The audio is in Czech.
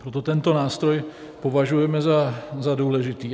Proto tento nástroj považujeme za důležitý.